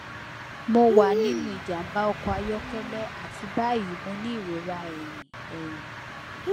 mo wa ninu ijamba ọkọ ayọkẹlẹ ati bayi mo ni irora ẹhin ẹhin